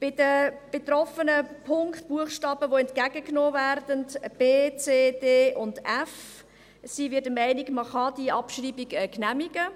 Bei den betroffenen Punkten, Buchstaben, die entgegengenommen werden – b, c, d und f –, sind wir der Meinung, man könne diese Abschreibung genehmigen.